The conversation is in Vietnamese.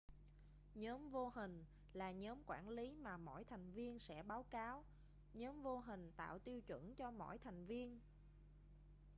nhóm vô hình là nhóm quản lý mà mỗi thành viên sẽ báo cáo nhóm vô hình tạo tiêu chuẩn cho mỗi thành viên